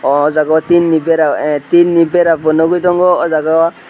o jaga o tin ni bera oh tin ni nogoi tango o jaga o.